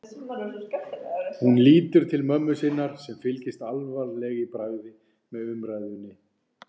Hún lítur til mömmu sinnar sem fylgist alvarleg í bragði með umræðunni.